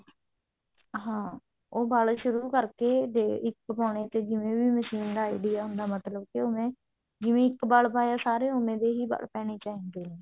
ਹਾਂ ਉਹ ਵਲ ਸ਼ੁਰੂ ਕਰਕੇ ਇਕ ਪਾਉਣੇ ਤੇ ਜਿਵੇਂ ਵੀ machine ਦਾ idea ਹੁੰਦਾ ਮਤਬਲ ਕਿ ਓਵੇਂ ਜਿਵੇਂ ਇੱਕ ਵਲ ਪਾਇਆ ਸਾਰੇ ਓਵੇਂ ਦੇ ਵਲ ਪੈਣੇ ਚਾਹੀਦੇ ਨੇ